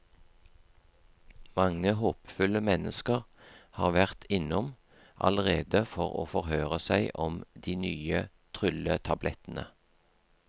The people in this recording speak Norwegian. Mange håpefulle mennesker har vært innom allerede for å forhøre seg om de nye trylletablettene.